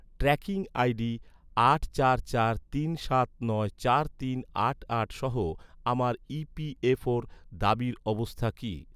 Tracking I D আট চার চার তিন সাত নয় চার তিন আট আট সহ আমার ই.পি.এফ.ওর দাবির অবস্থা কী?